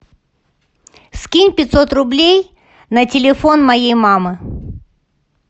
скинь пятьсот рублей на телефон моей мамы